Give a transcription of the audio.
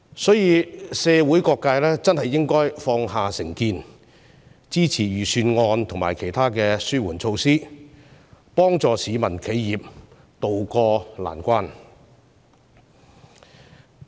所以，社會各界應該放下成見，支持預算案和其他紓緩措施，令市民和企業能渡過難關。